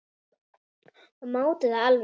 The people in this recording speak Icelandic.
Og mátti það alveg.